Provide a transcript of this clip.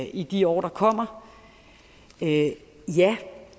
i de år der kommer ja